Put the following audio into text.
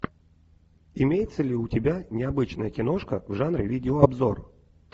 имеется ли у тебя необычная киношка в жанре видеообзор